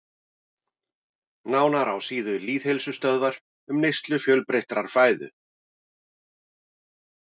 Nánar á síðu Lýðheilsustöðvar um neyslu fjölbreyttrar fæðu.